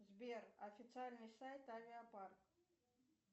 сбер официальный сайт авиапарк